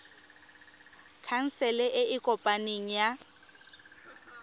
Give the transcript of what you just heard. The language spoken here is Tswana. khansele e e kopaneng ya